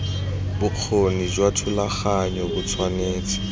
bokgoni jwa thulaganyo bo tshwanetse